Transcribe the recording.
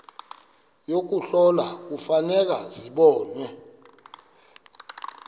yokuhlola kufuneka zibonwe